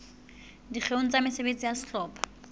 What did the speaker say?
dikgeong tsa mesebetsi ya sehlopha